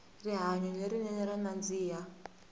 rihanyo le rinene ra nandzika